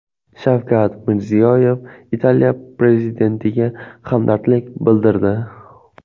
Shavkat Mirziyoyev Italiya prezidentiga hamdardlik bildirdi.